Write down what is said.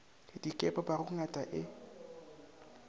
di ka ipopago ngata e